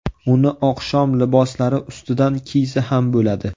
Uni oqshom liboslari ustidan kiysa ham bo‘ladi.